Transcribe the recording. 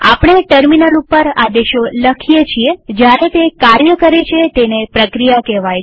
આપણે ટર્મિનલ ઉપર આદેશો લખીએ છીએ જયારે તે કાર્ય કરે છે તેને પ્રક્રિયા કહેવાય છે